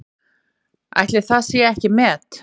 Ætli það sé ekki met?